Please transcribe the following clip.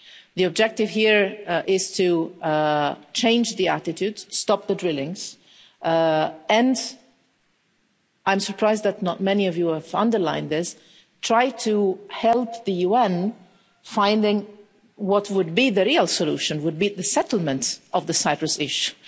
The objective here is to change the attitude, stop the drillings and I'm surprised that not many of you have underlined this try to help the UN finding what would be the real solution, what would be the settlement of the Cyprus issue.